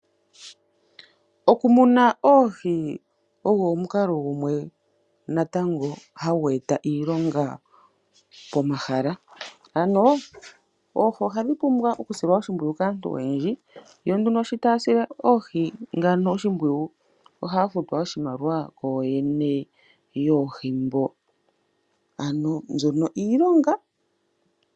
Aantu ohaya munu oohi mo mi kalo odhindji. Ohaya vulu oku muna oohi muundama mola haya tula omeya niikukya yoohi opo dhi koke.